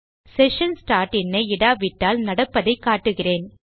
session start in ஐ இடாவிட்டால் நடப்பதை காட்டுகிறேன்